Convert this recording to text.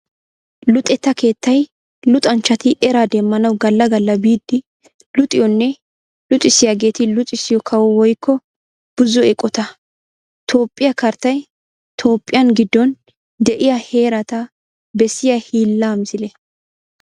Luxetta keettay luxanchchatti eraa demmanawu gala gala biidi luxiyoonne luxissiyaagetti luxissiyo kawo woykko buzo eqotta. Toophphiya karttay tooophphiyan gidon de'iya heerata bessiya hiilla misile.